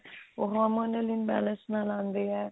ਉਹ Harmon imbalance ਨਾਲ ਆਉਂਦੇ ਆ